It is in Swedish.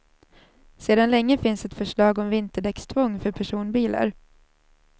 Sedan länge finns ett förslag om vinterdäckstvång för personbilar.